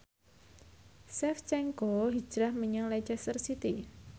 Shevchenko hijrah menyang Leicester City